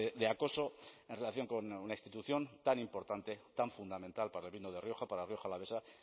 de acoso en relación con una institución tan importante tan fundamental para el vino de rioja para rioja alavesa